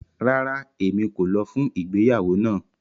Rárá, Emi ko lọ fun igbeyawo náà